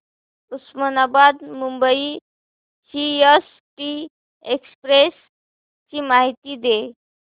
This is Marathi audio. उस्मानाबाद मुंबई सीएसटी एक्सप्रेस ची माहिती दे